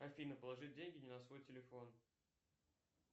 афина положить деньги не на свой телефон